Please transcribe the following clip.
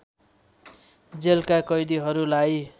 जेलका कैदीहरूलाई